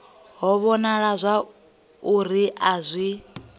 ho wanala uri a zwi